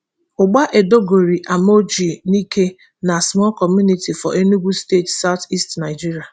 ugba edogori amorji nike na small community for enugu state south east nigeria